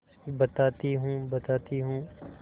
बताती हूँ बताती हूँ